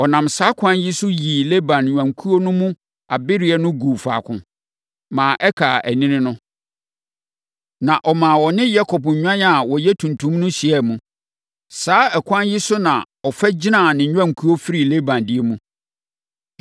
Ɔnam saa ɛkwan yi so yii Laban nnwankuo no mu abereɛ no guu faako, ma ɛkaa anini no. Na ɔmaa wɔne Yakob nnwan a wɔyɛ tuntum no hyiaa mu. Saa ɛkwan yi so na ɔfa gyinaa ne nnwankuo firii Laban deɛ mu.